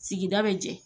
Sigida bɛ jɛ